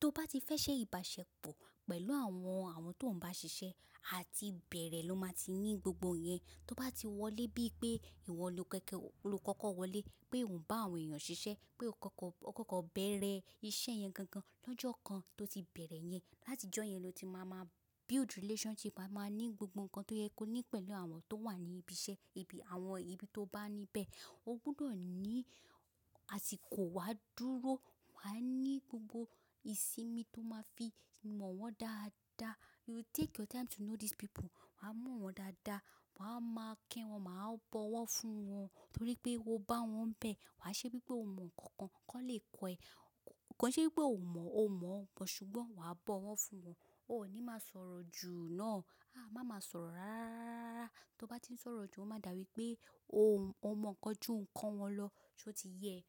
Tó bá ti fẹ́ ṣe ìbáṣepọ̀ pẹ̀lú àwọn, àwọn tó ń bá ṣiṣẹ́, àti ìbẹ̀rẹ̀ ló máa ti ní gbogbo yẹn. Tó bá ti wọlé bí i pé ìwọ lókeke ó, lokọ́kọ́ wọlé pé òn bá àwọn èèyàn ṣiṣẹ́, pé o kọ́kọ́, o kọ́kọ́ bẹ̀rẹ̀ iṣẹ́ yẹn gan gan lọ́jọ́ kan tó ti bẹ̀rẹ̀ yẹn. Láti ijọ́ yẹn lọ ti máa máa build relationship, wa máa ní gbogbo nkan tó yẹ kó ní pẹ̀lú àwọn tó wà ní ibi iṣẹ́, ibi àwọn ibi tó bá ní bẹ́ẹ̀. O gbudọ̀ ní àsìkò wá dúró, wàá ní gbogbo ìsinmi tó máa fi mọ̀ wọ́n dáadáa. You take your time to know these people. Wàá mọ̀ wọ́n dáadáa, wàá máa kí wọn, màá bọ̀ wọ́ fún wọn torí pé o bá wọn n bẹ̀. Wàá ṣe bíi pé o mọ ǹkan kan, kí wọ́n lè kọ́ ẹ. Kòi ṣe wipé ò mọ̀, o mọ̀ ọ́, but ṣùgbọ́n wàá bọ̀ wọ́ fún wọn. O ò ní máa sọ̀rọ̀ jù náà. A, má máa sọ̀rọ̀ rárárárárárá. Tó bá ti ń sọ̀rọ̀ jù, ó máa dà wípé o mọ̀ ńkan ju ǹkan wọn lọ, ṣó ti yẹ e.